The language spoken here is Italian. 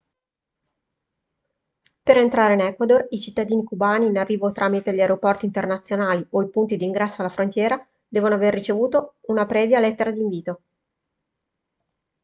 per entrare in equador i cittadini cubani in arrivo tramite gli aeroporti internazionali o i punti di ingresso alla frontiera devono aver ricevuto una previa lettera di invito